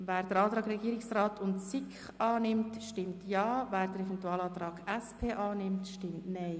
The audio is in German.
Wer den Antrag Regierungsrat und SiK annimmt, stimmt Ja, wer den Eventualantrag SP-JUSO-PSA annimmt, stimmt Nein.